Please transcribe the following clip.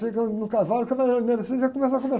Chegando no cavalo, já começa a conversar